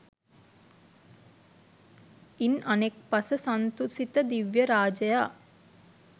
ඉන් අනෙක් පස සන්තුසිත දිව්‍ය රාජයා